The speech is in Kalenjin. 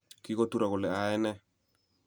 Kikoturo kole ayai ne